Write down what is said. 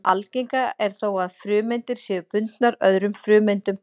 Algengara er þó að frumeindir séu bundnar öðrum frumeindum.